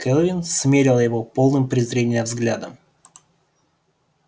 кэлвин смерила его полным презрения взглядом